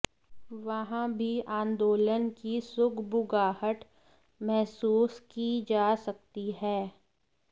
वहां भी आंदोलन की सुगबुगाहट महसूस की जा सकती है